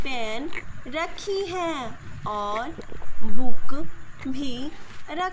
pen रखी है और बुक भी र--